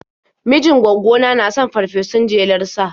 Mijin gwaggona na son farfesun jelar sa.